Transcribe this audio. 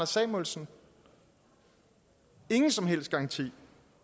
samuelsen ingen som helst garanti